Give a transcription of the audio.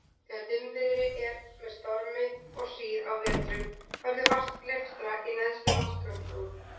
Þegar dimmviðri er með stormi og hríð á vetrum, verður vart leiftra í neðstu loftlögunum.